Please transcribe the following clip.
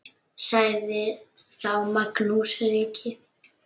Sagði þá Magnús ríki: